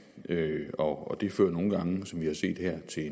og det fører nogle gange som vi har set her til